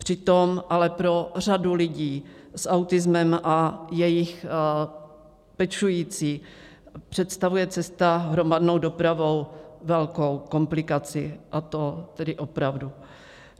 Přitom ale pro řadu lidí s autismem a jejich pečující představuje cesta hromadnou dopravou velkou komplikaci, a to tedy opravdu.